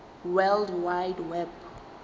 world wide web